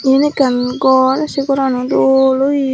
eane ekan gor say gorani doll oaye.